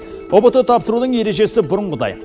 ұбт тапсырудың ережесі бұрынғыдай